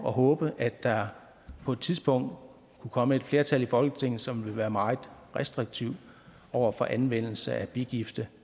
at håbe at der på et tidspunkt kunne komme et flertal i folketinget som vil være meget restriktivt over for anvendelse af bigifte